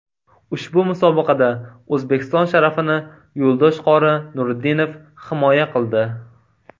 Ushbu musobaqada O‘zbekiston sharafini Yo‘ldosh qori Nuriddinov himoya qildi.